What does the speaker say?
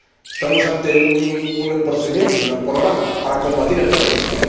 Estamos ante un procedimiento, un programa para combatir el terrorismo.